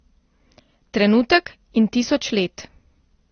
Trenutek in tisoč let.